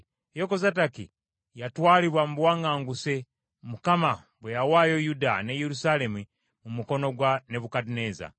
Yekozadaki yatwalibwa mu buwaŋŋanguse Mukama bwe yawaayo Yuda ne Yerusaalemi mu mukono gwa Nebukadduneeza.